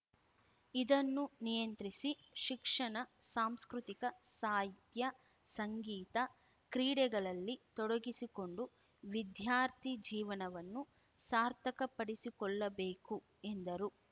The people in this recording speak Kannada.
ಇದನ್ನು ನಿಯಂತ್ರಿಸಿ ಶಿಕ್ಷಣ ಸಾಂಸ್ಕೃತಿಕ ಸಾಹಿತ್ಯ ಸಂಗೀತ ಕ್ರೀಡೆಗಳಲ್ಲಿ ತೊಡಗಿಸಿಕೊಂಡು ವಿದ್ಯಾರ್ಥಿ ಜೀವನವನ್ನು ಸಾರ್ಥಕಪಡಿಸಿಕೊಳ್ಳಬೇಕು ಎಂದರು